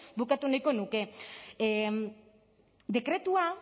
bukatu nahiko nuke dekretua